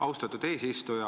Austatud eesistuja!